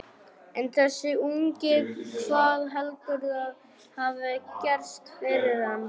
En þessi ungi, hvað heldurðu að hafi gerst fyrir hann?